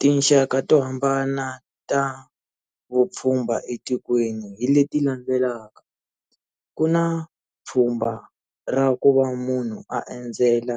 Tinxaka to hambana ta vupfhumba etikweni hi leti landzelaka ku na pfhumba ra ku va munhu a endzela